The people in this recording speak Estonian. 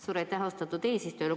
Suur aitäh, austatud eesistuja!